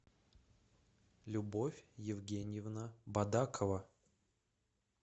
любовь евгеньевна бадакова